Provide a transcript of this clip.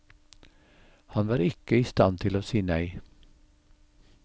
Han var ikke i stand til å si nei.